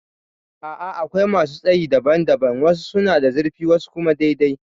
A'a akwai masu tsayi daban daban. Wasu suna da zurfi wasu kuma dai dai